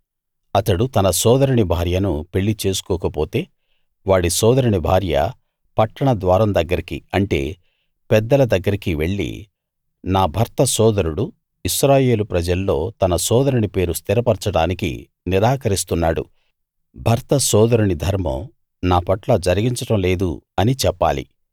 అతడు తన సోదరుని భార్యను పెళ్లి చేసుకోకపోతే వాడి సోదరుని భార్య పట్టణ ద్వారం దగ్గరికి అంటే పెద్దల దగ్గరికి వెళ్లి నా భర్త సోదరుడు ఇశ్రాయేలు ప్రజల్లో తన సోదరుని పేరు స్థిరపరచడానికి నిరాకరిస్తున్నాడు భర్త సోదరుని ధర్మం నాపట్ల జరిగించడం లేదు అని చెప్పాలి